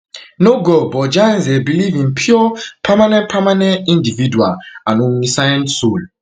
no god but jains um believe in pure permanent permanent individual and omniscient soul